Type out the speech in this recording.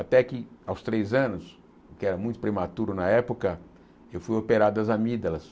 Até que, aos três anos, que era muito prematuro na época, eu fui operado as amígdalas.